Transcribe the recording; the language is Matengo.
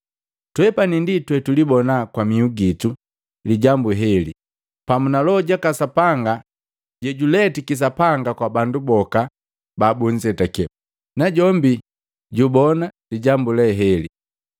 Twepani ndi twetulibona kwa mihu gitu lijambu leheli, pamu na Loho jaka Sapanga jaka Sapanga jejuletiki Sapanga kwa bandu boka babunzetake, najombi jubona lijambu lee heli.”